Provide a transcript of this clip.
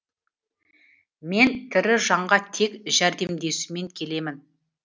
мен тірі жанға тек жәрдемдесумен келемін